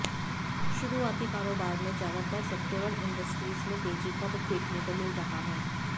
शुरुआती कारोबार में ज्यादातर सेेक्टोरल इंडिसेज में तेजी का रुख देखने को मिल रहा है